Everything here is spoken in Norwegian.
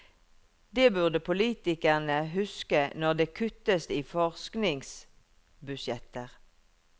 Det burde politikere huske når det kuttes i forskningsbudsjetter.